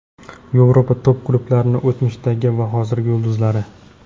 Yevropa top klublarining o‘tmishdagi va hozirgi yulduzlari.